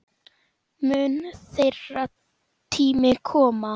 Mun þeirra tími koma?